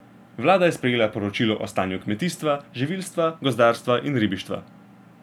Vlada je sprejela poročilo o stanju kmetijstva, živilstva, gozdarstva in ribištva.